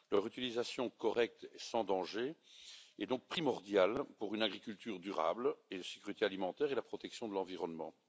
Leur utilisation correcte et sans danger est donc primordiale pour une agriculture durable, la sécurité alimentaire et la protection de l'environnement.